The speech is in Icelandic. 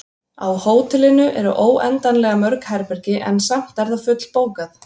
Á hótelinu eru óendanlega mörg herbergi, en samt er það fullbókað.